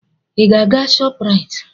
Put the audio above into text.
Ị ga-aga Shoprite?